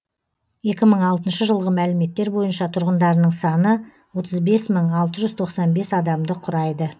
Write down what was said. екі мың алтыншы жылғы мәліметтер бойынша тұрғындарының саны отыз бес мың алты жүз тоқсан бес адамды құрайды